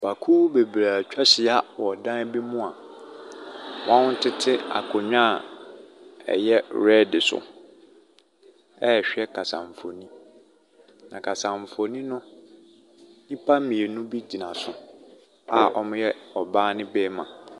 Nnipakuo bebree atwa ahyia wɔ dan bi mu a wɔtete akonnwa a ɛyɛ red so ɛrehwɛ kasamfonin, na kasamfonin no, nnipa mmienu bi gyina so a wɔyɛ ɔbaa ne barima.